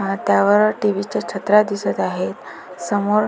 अ त्यावर टी.व्ही च्या छत्र्या दिसत आहेत समोर --